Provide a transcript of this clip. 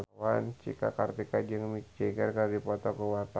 Cika Kartika jeung Mick Jagger keur dipoto ku wartawan